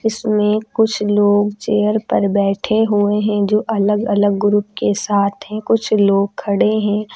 इसमें कुछ लोग चेयर पर बैठे हुए हैं जो अलग अलग ग्रुप के साथ है कुछ लोग खड़े हैं।